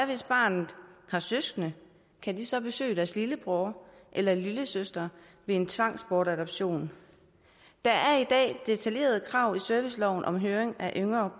hvis barnet har søskende kan de så besøge deres lillebror eller lillesøster ved en tvangsbortadoption der er i dag detaljerede krav i serviceloven om høring af yngre